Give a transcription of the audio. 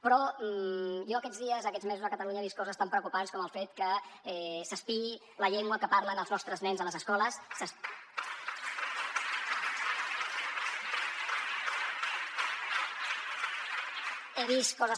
però jo aquests dies aquests mesos a catalunya he vist coses tan preocupants com el fet que s’espiï la llengua que parlen els nostres nens a les escoles